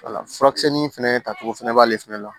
wala furakisɛ nin fɛnɛ tacogo fɛnɛ b'ale fɛnɛ la